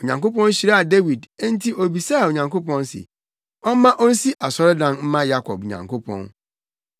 Onyankopɔn hyiraa Dawid enti obisaa Onyankopɔn se ɔmma onsi asɔredan mma Yakob Nyankopɔn.